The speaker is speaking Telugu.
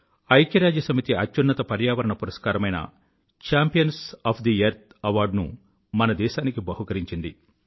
ఐక్యరాజ్య సమితి అత్యున్నత పర్యావరణ పురస్కారమైన champions of the earth award ను మన దేశానికి బహుకరించింది